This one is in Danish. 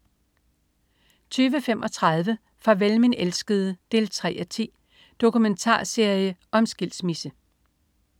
20.35 Farvel min elskede 3:10. Dokumentarserie om skilsmisse